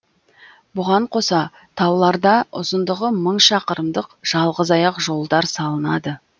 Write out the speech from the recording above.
бұған қоса тауларда ұзындығы мың шақырымдық жалғызаяқ жолдар салынады